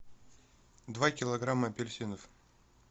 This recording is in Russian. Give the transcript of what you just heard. два килограмма апельсинов